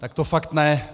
Tak to fakt ne!